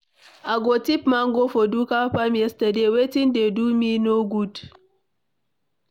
I go thief mango for Ndụka farm yesterday. Wetin dey do me no good.